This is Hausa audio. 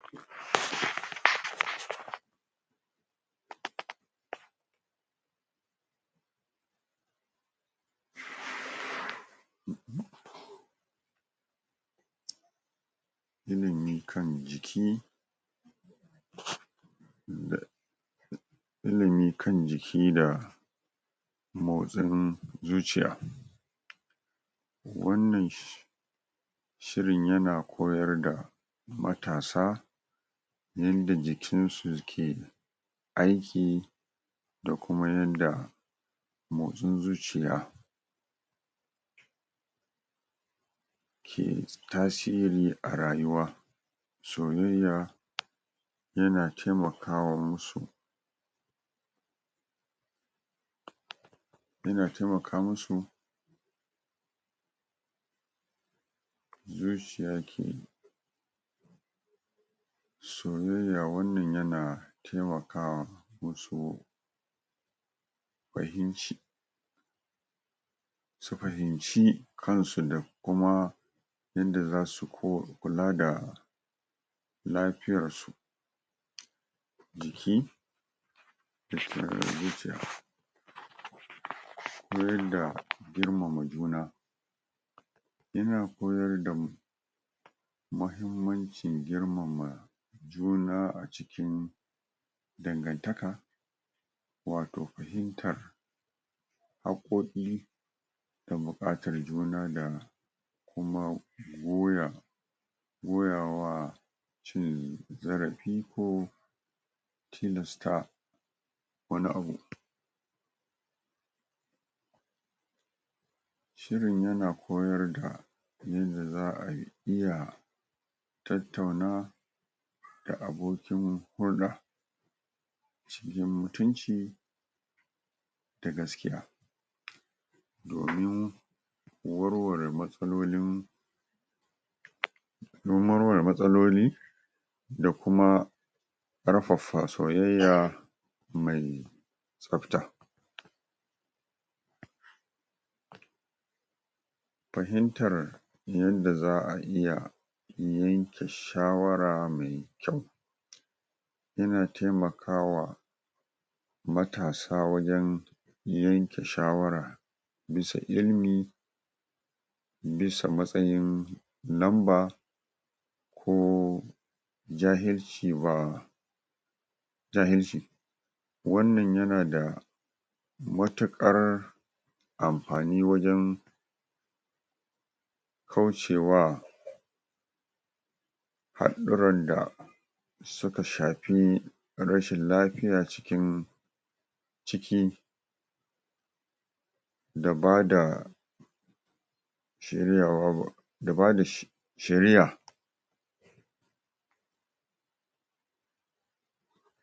umm pause ilimi kan jiki um da ilimi kan jiki da motsin zuciya wannan shir.. shirin yana koyar da matasa yanda jikinsu ke aiki da kuma yanda motsin zuciya pause ke tasiri a rayuwa soyayya yana temakawa musu pause yana temaka musu pause zuciya ke soyayya wannan yana temakawa musu fahimci su fahimci kansu da kuma yanda zasu ko kula da lafiyarsu jiki da kare zuciya um koyar da girmama juna yana koyar da mu muhimmancin girmama juna a cikin dangantaka wato fahimtar haƙkoƙin da buƙatar juna da kuma goya goyawa cin zarafi ko tilasta wani abu pause shirin yana koyar da yanda za'a iya tattauna da abokin hulɗa cikin mutunci da gaskiya domin warware matsalolin um don warware matsaloli da kuma ƙarfafa soyayya mai tsafta pause fahimtar yanda za'a iya yanke shawara mai kyau yana taimakawa matasa wajen yanke shawara bisa ilmi bisa matsayin lamba ko jahilci ba jahilci wannan yana da matuƙar amfani wajen kaucewa haɗɗuran da suka shafi rashin lafiya cikin ciki da bada shiryawa ba.. da bada sh. shiriya pause